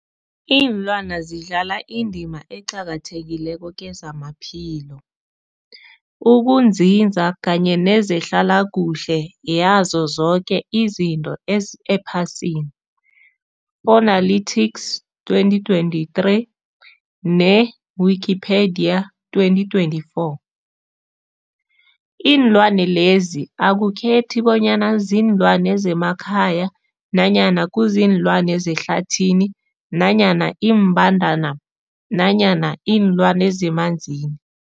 Iinlwana zidlala indima eqakathekileko kezamaphilo, ukunzinza kanye nezehlala kuhle yazo zoke izinto ephasini, Fuanalytics 2023, ne-Wikipedia 2024. Iinlwana lezi akukhethi bonyana ziinlwana zemakhaya nanyana kuziinlwana zehlathini nanyana iimbandana nanyana iinlwana zemanzini.